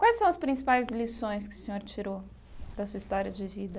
Quais são as principais lições que o senhor tirou da sua história de vida?